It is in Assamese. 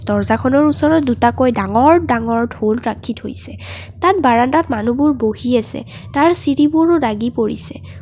দৰ্জাখনৰ ওচৰত দুটাকৈ ডাঙৰ ডাঙৰ ঢোল ৰাখি থৈছে তাত বাৰণ্ডাত মানুহবোৰ বহি আছে তাৰ চিৰিবোৰো দাগী পৰিছে।